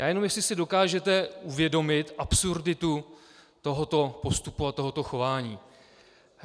Já jenom, jestli si dokážete uvědomit absurditu tohoto postupu a tohoto chování.